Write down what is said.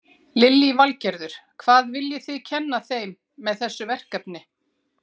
Lillý Valgerður: Hvað viljið þið kenna þeim með þessu verkefni?